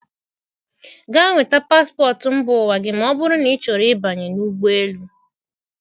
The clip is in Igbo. Gaa nweta paspọtụ mba ụwa gị ma ọ bụrụ na ịchọrọ ịbanye n'ụgbọelu.